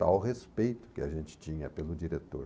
Tal respeito que a gente tinha pelo diretor.